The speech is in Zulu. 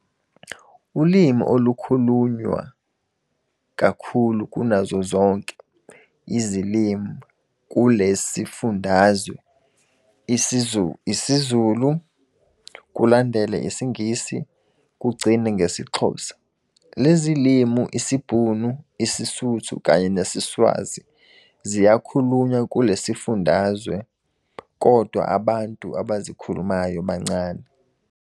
Ulimi olukhunyulwa kakhulu kunazo zonke izilimi kulesifundazwe IsiZulu kulandele IsiNgisi kugcine ngesiXhosa. Lezilimi, IsiBhunu, IsiSuthu, kanye nesiSwazi ziyakhulunywa kulesifundazwe kodwa abantu abazikhulumayo bancane.